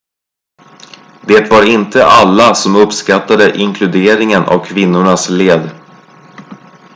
det var inte alla som uppskattade inkluderingen av kvinnornas led